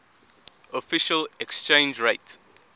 official exchange rate